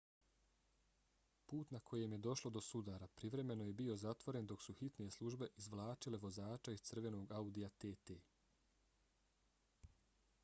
put na kojem je došlo do sudara privremeno je bio zatvoren dok su hitne službe izvlačile vozača iz crvenog audija tt